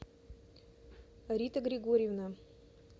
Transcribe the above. рита григорьевна